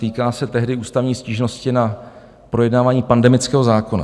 Týká se tehdy ústavní stížnosti na projednávání pandemického zákona.